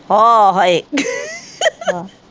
ਹੋ ਹਾਏ